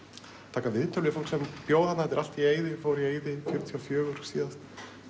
taka viðtöl við fólk sem bjó þarna þetta er allt í eyði fór í eyði fjörutíu og fjögur síðast